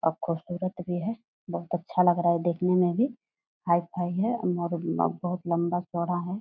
और खूबसूरत भी है बहुत अच्छा लग रहा है देखने में भी। हाई-फाई है और बहुत लंबा-चौड़ा है।